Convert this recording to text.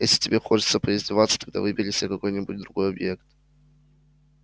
если тебе хочется поиздеваться тогда выбери себе какой-нибудь другой объект